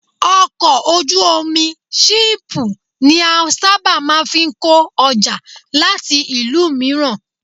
Ọkọ̀ ojú omi ṣíìpù ní a sábà máa ń fi kó ọjà láti ìlú mìíràn